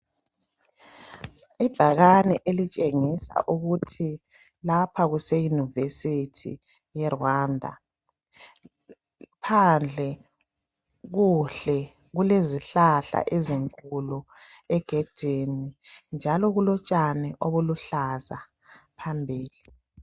ibhakane elitshengisa ukuthi lapha kuse university e Rwanda phandle kuhle kulezihlaha ezinkulu egedini njalo kulo tshani oluluhlaza phambili